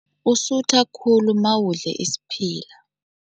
Usutha khulu mawudle isiphila.